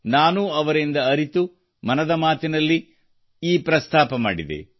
ನಾನೂ ಅವರಿಂದ ಅರಿತು ಮತ್ತು ಮನದ ಮಾತಿನಲ್ಲಿ ಈ ಪ್ರಸ್ತಾಪ ಮಾಡಿದೆ